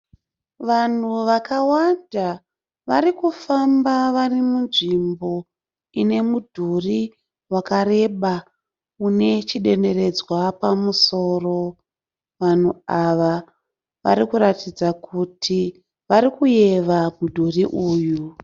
Vanhu vakawanda, varikufamba varimunzvimbo ine mudhuri wakareba, une chidenderedzwa pamusoro. Vanhu ava varikuratidza kuti varikuyeva mudhuri uyu.